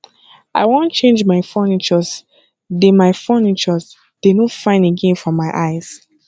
i wan change my furnitures dey my furnitures dey no fine again for my eyes